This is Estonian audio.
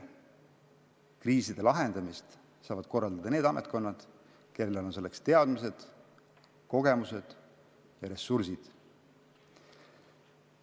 Kriiside lahendamist saavad korraldada need ametkonnad, kellel on selleks vajalikud teadmised, kogemused ja ressursid.